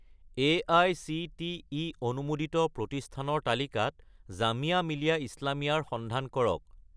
AICTE অনুমোদিত প্ৰতিষ্ঠানৰ তালিকাত জামিয়া মিলিয়া ইছলামিয়া ৰ সন্ধান কৰক